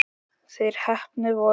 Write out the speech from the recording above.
Þeir heppnu voru